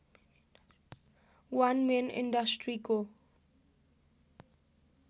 वन man इन्डस्ट्रीको